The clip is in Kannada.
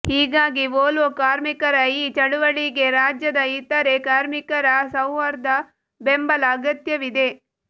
ಹೀಗಾಗಿ ವೋಲ್ವೋ ಕಾಮರ್ಿಕರ ಈ ಚಳುವಳಿಗೆ ರಾಜ್ಯದ ಇತರೆ ಕಾಮರ್ಿಕರ ಸೌಹಾರ್ಧ ಬೆಂಬಲ ಅಗತ್ಯವಿದೆ